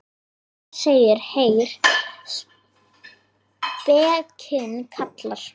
Þar segir: Heyr, spekin kallar.